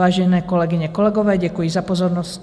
Vážené kolegyně, kolegové, děkuji za pozornost.